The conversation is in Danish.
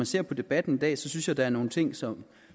ser på debatten i dag synes jeg der er nogle ting som